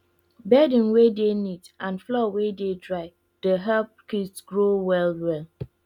bedding wey dey neat and floor wey dey dry dey help kids grow well well